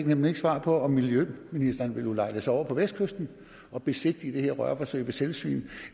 nemlig ikke svar på om miljøministeren vil ulejlige sig over på vestkysten og besigtige det her rørforsøg ved selvsyn